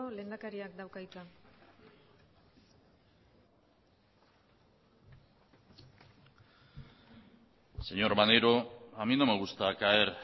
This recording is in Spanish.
lehendakariak dauka hitza señor maneiro a mí no me gusta caer